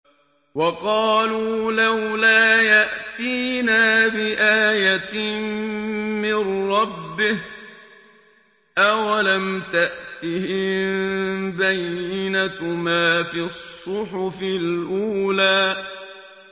وَقَالُوا لَوْلَا يَأْتِينَا بِآيَةٍ مِّن رَّبِّهِ ۚ أَوَلَمْ تَأْتِهِم بَيِّنَةُ مَا فِي الصُّحُفِ الْأُولَىٰ